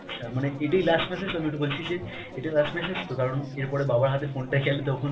আচ্ছা মানে এটাই last message আমি এটা বলছি যে এটা last message তো? কারণ এর পরে বাবার হাতে phone টা গেলে তখন